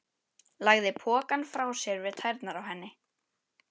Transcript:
Lagði pokann frá sér við tærnar á henni.